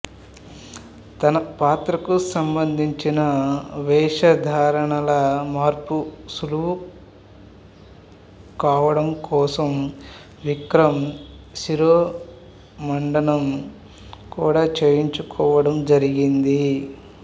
తన పాత్రకు సంబంధించిన వేషధారణల మార్పు సులువు కావడం కోసం విక్రమ్ శిరోముండనం కూడా చేయించుకోవడం జరిగింది